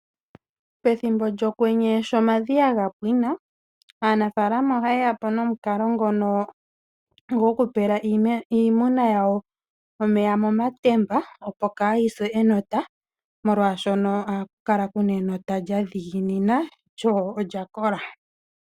Pethimbo lyokwenye shomadhiya gapwina aanafaalama ohaye yapo nomukalo ngono gopela iimuna yawo omeya momatemba opo kayi se enota molwaashoka ohaku kala kuna enota lyadhiginina lyo olyakola.